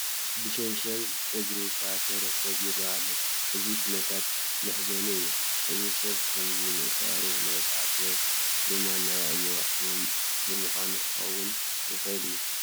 ብዝሸንሸል እግሩ ዝተኣሰረ ሰብ ይርአ ኣሎ፡፡ እዚ ኩነታት መሕዘኒ እዩ፡፡ እዚ ሰብ ብኸምዚ ምእሳሩ ንቅፅዓት ወይ ድማ ናይ ኣእምሮ ህሙም ብምዃኑ ክኸውን ይኽእል እዩ፡፡